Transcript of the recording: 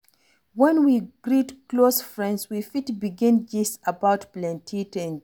When we greet close friend we fit begin gist about plenty things